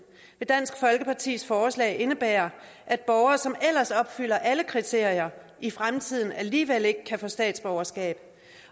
dansk folkepartis forslag vil indebære at borgere som ellers opfylder alle kriterier i fremtiden alligevel ikke kan få statsborgerskab